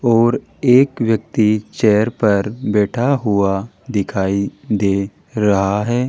और एक व्यक्ति चेयर पर बैठा हुआ दिखाई दे रहा है।